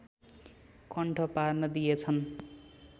कण्ठ पार्न दिएछन्